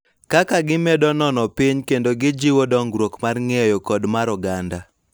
Kaka gimedo neno piny kendo gijiwo dongruok mar ng�eyo kod mar oganda.